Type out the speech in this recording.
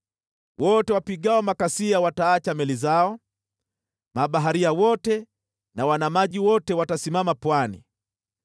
Wote wapigao makasia wataacha meli zao, mabaharia wote na wanamaji wote watasimama pwani.